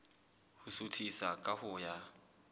ho suthisa ka ho ya